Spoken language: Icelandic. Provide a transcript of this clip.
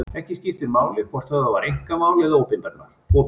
Ekki skiptir máli hvort höfðað var einkamál eða opinbert mál.